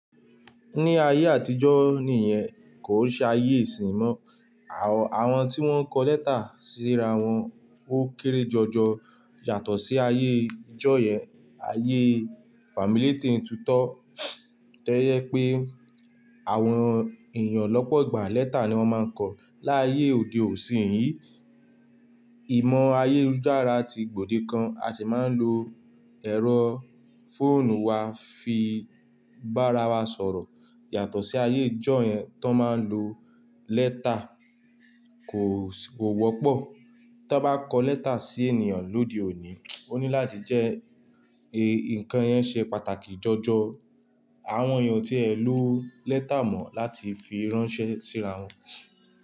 Ní ayé àtijọ́ nìyẹn kò ṣe ayé ìsin mọ́, àwọn tí wọ́n ń kọ lẹ́tà síra wọn ó kéré jọjọ yàtọ̀ sí ayé ìjọ yẹn. Ayé fami lete n tutọ́, tojẹ pé àwọn èèyàn lọ́pọ̀ gbà lẹ́tà ni wọ́n máa ń kọ̀ láyé òde òsín yìí. Ìmọ̀ ayélujára ti gbòde kan, a sì máa ń lo ẹ̀rọ fóònù wa fi bára wa sọ̀rọ̀ yàtọ̀ sí ayé ìjọ yẹn tán máa ń lo lẹ́tà kò wọ́pọ̀. Tán bá kọ lẹ́tà sí ènìyàn lóde òní, ó ní láti jẹ́ ǹkan yẹn ṣe pàtàkì jọjọ àwọn èèyàn o tí ẹ ló lẹ́tà mọ́ láti fi ránṣẹ́ síra wọn.